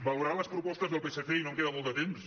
valorar les propostes del psc i no em queda molt de temps